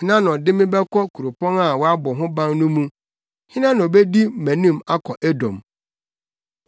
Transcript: Hena na ɔde me bɛkɔ kuropɔn a wɔabɔ ho ban no mu? Hena na obedi mʼanim akɔ Edom?